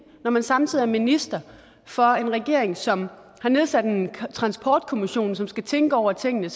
når man samtidig er minister for en regering som har nedsat en transportkommission som skal tænke over tingene